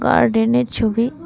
গার্ডেনের ছবি।